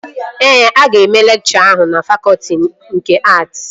Ee, aga eme lekchọ ahụ na fakọtị nke att